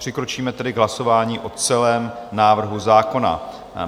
Přikročíme tedy k hlasování o celém návrhu zákona.